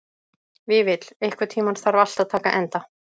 Vífill, einhvern tímann þarf allt að taka enda.